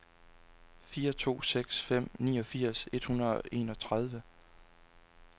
fire to seks fem niogfirs et hundrede og enogtredive